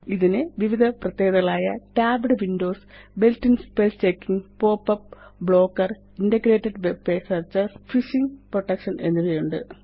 ഇതിന് വിവിധ പ്രത്യേകതകളായ tabbed windowsbuilt in spell checkingpop up blocker integrated web search phishing protection എന്നിവയുണ്ട്